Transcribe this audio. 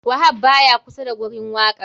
Wahab baya kusa da gurin wakan.